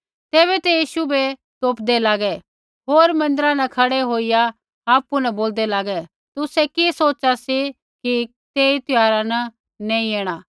तैबै ते यीशु बै तोपदै लागै होर मन्दिरा न खड़ै होईया आपु न बोलदै लागे तुसै कि सोच़ा सी कि तेई त्यौहारा न नैंई ऐणा